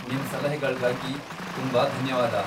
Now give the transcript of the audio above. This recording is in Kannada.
ನಿಮ್ ಸಲಹೆಗಳ್ಗಾಗಿ ತುಂಬಾ ಧನ್ಯವಾದ.